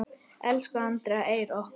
Elsku Andrea Eir okkar.